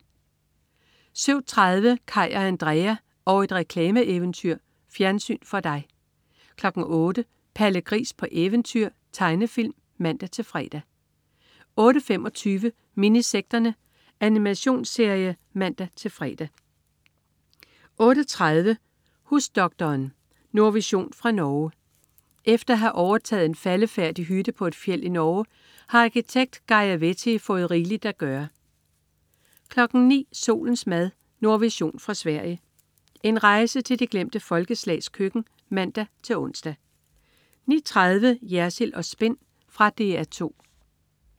07.30 Kaj og Andrea og et reklameeventyr. Fjernsyn for dig 08.00 Palle Gris på eventyr. Tegnefilm (man-fre) 08.25 Minisekterne. Animationsserie (man-fre) 08.30 Husdoktoren. Nordvision fra Norge. Efter at have overtaget en faldefærdig hytte på et fjeld i Norge har arkitekt Geirr Vetti fået rigeligt at gøre 09.00 Solens mad. Nordvision fra Sverige. En rejse til de glemte folkeslags køkken (man-ons) 09.30 Jersild & Spin. Fra DR 2